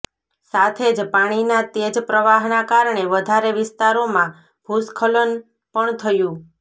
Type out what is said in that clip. સાથે જ પાણીના તેજ પ્રવાહના કારણે વધારે વિસ્તારોમાં ભૂસ્ખલન પણ થયુ